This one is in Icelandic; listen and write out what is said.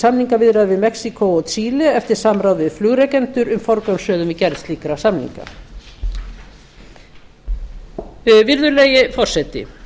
samningaviðræður við mexíkó og chile eftir samráð við flugrekendur um forgangsröðun við gerð slíkra samninga virðulegi forseti